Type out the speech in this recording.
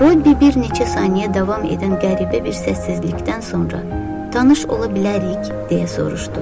Robbi bir neçə saniyə davam edən qəribə bir səssizlikdən sonra tanış ola bilərik, deyə soruşdu.